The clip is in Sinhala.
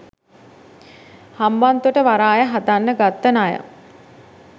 හම්බන්තොට වරාය හදන්න ගත්ත ණය.